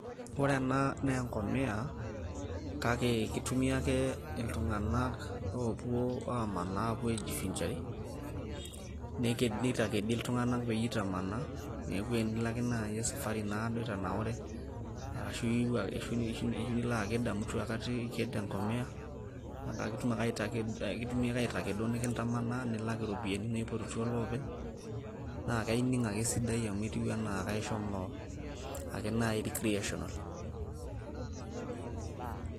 ore ena naa engomia kake kitumia ake iltunganak oopuo amanaa opuo ajifuzare neitakedi iltunganak peyie itamanaa neeku tinilo naaji ake esafari itanaure ashu ilo aked amu etu aikata iked engomia kake iked ake nikitamanari nikitumi aitalaa iropiyiani naayieu ilopeny naa ining ake esidai amu e etiu ake enaa ishomo ake naaji recreational.